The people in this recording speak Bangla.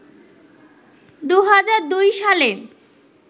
২০০২ সালে